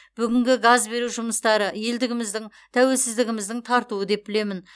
бүгінгі газ беру жұмыстары елдігіміздің тәуелсіздігіміздің тартуы деп білемін